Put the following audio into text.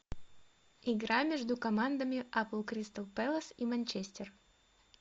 игра между командами апл кристал пэлас и манчестер